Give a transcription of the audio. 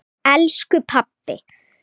Elsku pabbi!